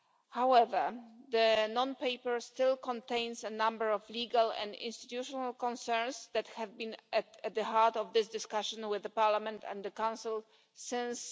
However, the non paper proposal still contains a number of legal and institutional concerns that have been at the heart of this discussion with the Parliament and the Council since